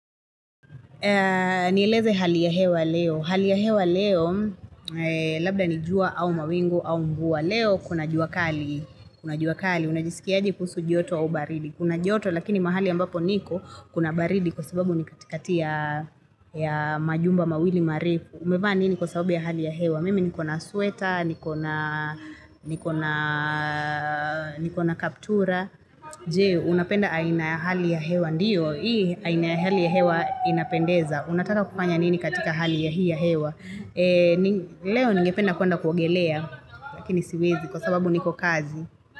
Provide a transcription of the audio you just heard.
Nieleze hali ya hewa leo. Hali ya hewa leo, labda ni jua au mawingu au mvua leo, kuna jua kali, kuna jua kali. Unajisikiaje kuhusu joto au baridi. Kuna joto, lakini mahali ambapo niko, kuna baridi kwa sababu ni katikati ya majumba, mawili, marefu. Umevaa nini kwa sababu ya hali ya hewa. Mimi ni kona sueta, ni kona kaptura. Je, unapenda aina hali ya hewa ndiyo. Hii aina hali ya hewa inapendeza. Unataka kufanya nini katika hali ya hii ya hewa. Leo ningependa kuenda kuogelea, lakini siwezi kwa sababu niko kazi.